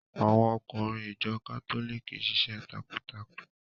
Àwọn ọkùnrin ìjọ kátólìkì ṣiṣẹ́ takuntakun.